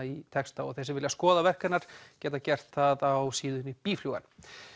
í texta þeir sem vilja skoða verk hennar geta gert það á síðunni